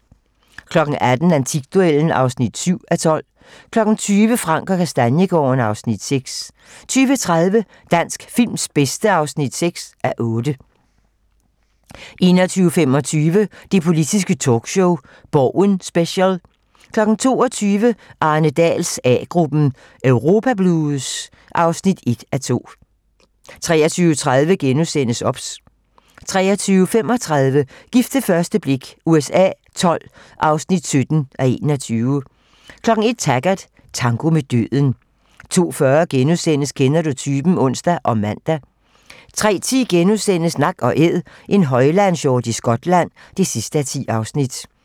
18:00: Antikduellen (7:12) 20:00: Frank & Kastaniegaarden (Afs. 6) 20:30: Dansk films bedste (6:8) 21:25: Det politiske talkshow - Borgen Special 22:00: Arne Dahls A-gruppen: Europa blues (1:2) 23:30: OBS * 23:35: Gift ved første blik USA XII (17:21) 01:00: Taggart: Tango med døden 02:40: Kender du typen? *(ons og man) 03:10: Nak & Æd - en højlandshjort i Skotland (10:10)*